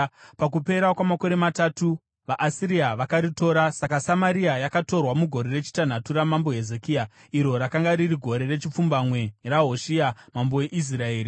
Pakupera kwamakore matatu vaAsiria vakaritora. Saka Samaria yakatorwa mugore rechitanhatu raMambo Hezekia, iro rakanga riri gore rechipfumbamwe raHoshea mambo weIsraeri.